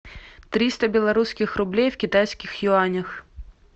триста белорусских рублей в китайских юанях